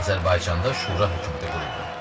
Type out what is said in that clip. Azərbaycanda şura hökuməti quruldu.